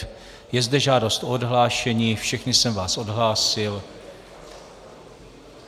Je zde žádost o odhlášení, všechny jsem vás odhlásil.